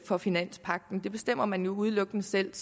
for finanspagten det bestemmer man jo udelukkende selv